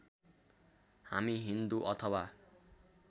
हामी हिन्दू अथवा